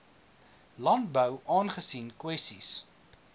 landbou aangesien kwessies